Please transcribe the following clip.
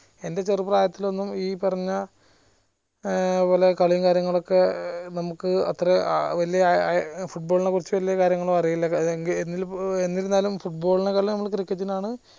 എന്റെ ചെറുപ്രായത്തിലൊന്നും ഈ പറഞ്ഞ ഏർ പോലെ കളിയും കാര്യങ്ങളൊക്കെ നമുക്ക് അത്ര ഏർ വലിയ ഏർ football നെ കുറിച്ച് വലിയ കാര്യങ്ങളൊന്നും അറീല എന്നിരിന്നാലൂം football നേക്കാൾ cricket നാണ്